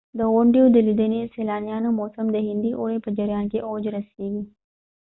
د غونډیو د لیدنې د سیلانیانو موسم د هندي اوړي په جریان کې اوج رسیږي